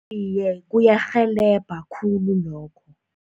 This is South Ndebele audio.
Iye, kuyarhelebha khulu lokho.